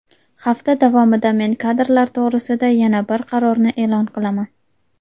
Hafta davomida men kadrlar to‘g‘risida yana bir qarorni e’lon qilaman.